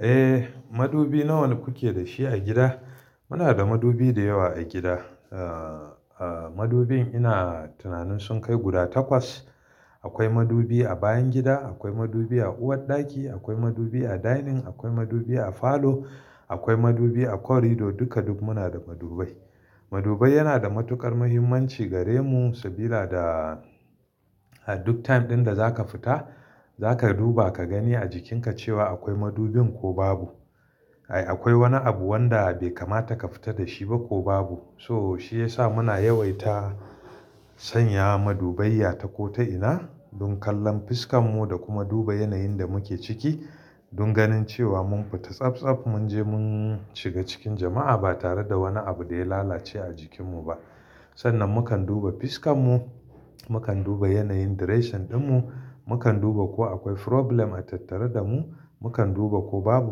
Eh, madubi nawa kuke da shi a gida? Muna da madubi da yawa a gida. Ah, madubin ina tunanin sun kai guda takwas. Akwai madubi a bayan gida, akwai madubi a uwarɗaki, akwai madubi a dining, akwai madubi a falo, akwai madubi a corridor duka duk muna da madubai. Madubai yana da matuƙar mahimmanci gare mu saboda duk time ɗin da zaka fita zaka duba ka gani a jikinka cewa akwai madubin ko babu. Ai akwai wani abu wanda bai kamata ka fita da shi ba ko babu. So shi ya sa muna yawaita sanya madubai a ta ko ta ina don kallon fuskan mu da kuma duba yanayin da muke ciki don ganin cewa mun fita tsaf tsaf mun je mun shiga cikin jama'a ba tare da wani abu da ya lalace a jikin mu ba. Sannan mukan duba fuskan mu, mukan duba yanayin direshin ɗin mu, mukan duba ko akwai problem a tattare da mu, mukan duba ko babu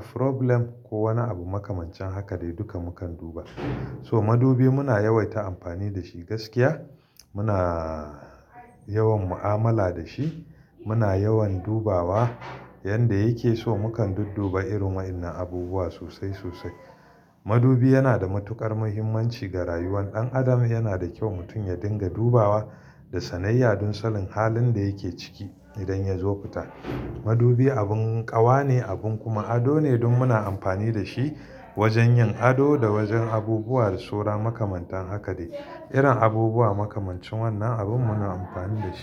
problem ko wani abu makamancin haka dai duka mukan duba. So madubi muna yawaita amfani da shi gaskiya. Muna yawan mu'amala da shi. Muna yawan dubawa yanda yake so mukan dudduba irin wa'innan abubuwa sosai sosai. Madubi yana da matuƙar muhimmanci ga rayuwar ɗan adam. Yana da kyau mutum ya dinga dubawa da sanayya don salin halin da yake ciki idan ya zo fita. Madubi abin ƙawa ne abin kuma ado ne don muna amfani da shi wajen yin ado da wajen abubuwa da saura makamantan haka dai. Irin abubuwa makamancin wannan abin muna amfani da shi.